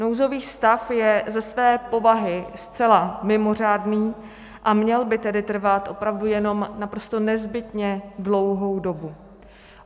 Nouzový stav je ze své povahy zcela mimořádný, a měl by tedy trvat opravdu jenom naprosto nezbytně dlouhou dobu.